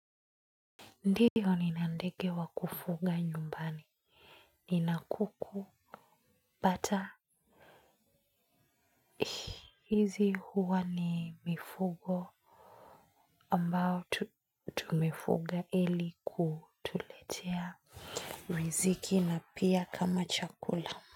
Ndiyo nina ndege wa kufuga nyumbani nina kuku bata hizi huwa ni mifugo ambao tumefuga ili kutuletea riziki na pia kama chakula.